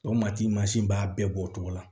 O mati mansin b'a bɛɛ bɔ o cogo la